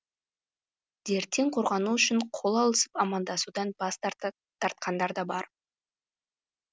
дерттен қорғану үшін қол алысып амандасудан бас тартқандар да бар